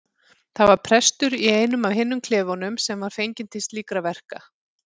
Það var prestur í einum af hinum klefunum sem var fenginn til slíkra verka.